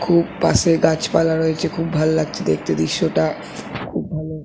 খুব পাশে গাছ পালা রয়েছে খুব ভালো লাগছে দেখতে দৃশ্য টা। খুব ভালো।